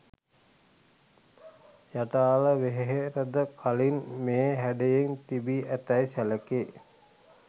යටාල වෙහෙරද කලින් මේ හැඩයෙන් තිබී ඇතැයි සැලකේ.